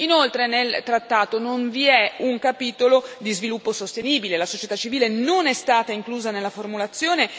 Inoltre nel trattato non vi è un capitolo di sviluppo sostenibile e la società civile non è stata inclusa nella formulazione.